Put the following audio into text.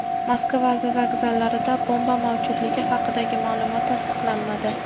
Moskva vokzallarida bomba mavjudligi haqidagi ma’lumot tasdiqlanmadi.